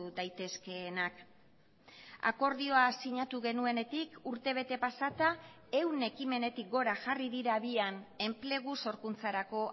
daitezkeenak akordioa sinatu genuenetik urte bete pasata ehun ekimenetik gora jarri dira habian enplegu sorkuntzarako